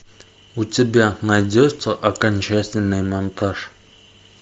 у тебя найдется окончательный монтаж